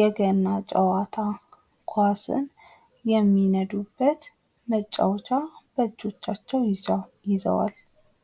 የገና ጨዋታ ኳስን የሚነዱበት መጫወቻ በእጆቻቸው ይዘዋል።